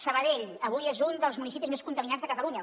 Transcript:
sabadell avui és un dels municipis més contaminats de catalunya